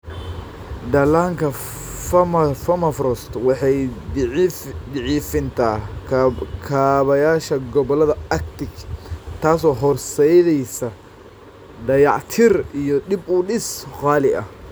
Dhallaanka permafrost waa daciifinta kaabayaasha gobollada Arctic, taasoo horseedaysa dayactir iyo dib u dhis qaali ah.